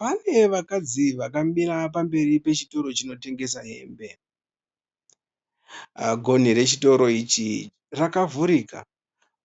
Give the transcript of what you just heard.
Pane vakadzi vakamira pamberi pechitoro chinotengesa hembe. Gonhi rechitoro ichi rakavhurika,